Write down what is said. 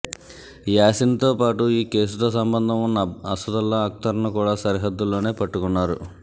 యాసిన్తో పాటు ఈ కేసుతో సంబంధం ఉన్న అసదుల్లా అక్తర్ను కూడా సరిహద్దుల్లోనే పట్టుకున్నారు